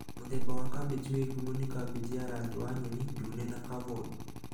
Mũthemba wa kambĩji wĩ ngumo nĩ kambĩji ya rangi wa nyeni, ndune na cavoi